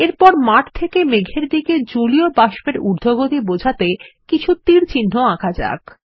এরপর মাঠ খেকে মেঘের দিকে জলীয় বাষ্প এর উর্ধগতি বোঝাতে কিছু তীরচিহ্ন আঁকা যাক